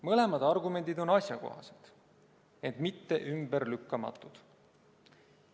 Mõlemad argumendid on asjakohased, ent mitte ümberlükkamatud.